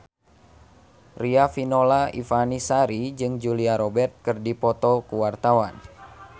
Riafinola Ifani Sari jeung Julia Robert keur dipoto ku wartawan